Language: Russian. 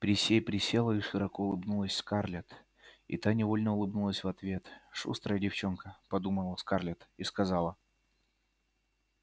присей присела и широко улыбнулась скарлетт и та невольно улыбнулась в ответ шустрая девчонка подумала скарлетт и сказала